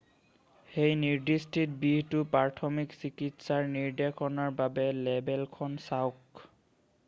সেই নিৰ্দিষ্ট বিহটোৰ প্ৰাথমিক চিকিৎসাৰ নিৰ্দেশনাৰ বাবে লেবেলখন চাওক